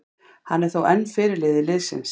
Hann er þó enn fyrirliði liðsins.